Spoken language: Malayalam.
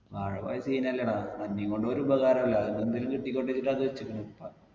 വാഴ പോയ scene അല്ലേട അന്നിം കൊണ്ട് ഒരുപകാരുല്ല അയിൽന്ന് എന്തെങ്കിലും കിട്ടിക്കോട്ടെ വിചാരിച്ചിട്ട അത് വെച്ചക്ക്ണ് ഉപ്പ